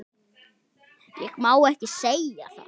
Ég má ekki segja það